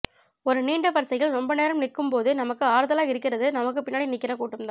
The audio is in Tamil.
ஒரு நீண்ட வரிசையில் ரொம்ப நேரம் நிக்கும் போது நமக்கு ஆறுதலா இருக்கறது நமக்கு பின்னாடி நிக்கற கூட்டம் தான்